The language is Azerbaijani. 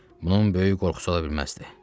Bunun böyük qorxusu ola bilməzdi.